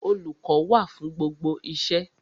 Olùkọ́ wà fún gbogbo iṣẹ́.